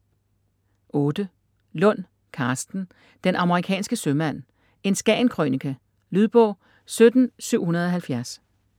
Lund, Karsten: Den amerikanske sømand: en Skagen-krønike Lydbog 17770